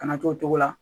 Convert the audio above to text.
Kana to o cogo la